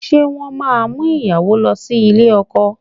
Ṣé wọ́n máa mú ìyàwó lọ sí ilé ọkọ?